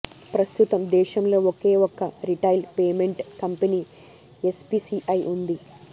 ప్రస్తుతం దేశంలో ఒకే ఒక్క రిటైల్ పేమెంట్ కంపెనీ ఎన్పీసీఐ ఉంది